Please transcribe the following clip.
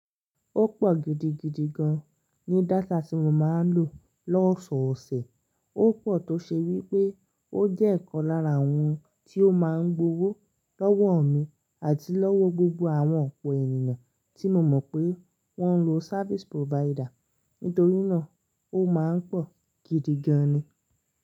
Ó pọ̀ gidigidi gan ní data tí mo máa ń lò lọ́sọ̀ọ̀sẹ̀. Ó pọ̀ tó ṣe wí pé ó jẹ́ ìkan lára àwọn tí ó máa ń gbowó lọ́wọ́ mi àti lọ́wọ gbogbo àwọn ọ̀pọ̀ ènìyàn tí mo mọ̀ pé wọ́n ń lo service provider. Nítorí náà, ó máa ń pọ̀ gidi gan ni.